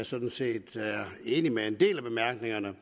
sådan set er enig med en del af bemærkningerne